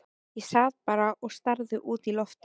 Ég sat bara og starði út í loftið.